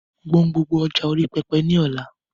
Gbọn gbogbo ọjà orí pẹpẹ nù lọ́la!